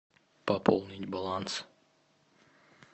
пополнить баланс